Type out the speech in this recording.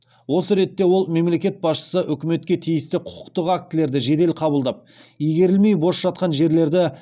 осы ретте ол мемлекет басшысы үкіметке тиісті құқықтық актілерді жедел қабылдап игерілмей бос жатқан жерлерді